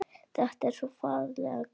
Þetta er svo ferlega gaman.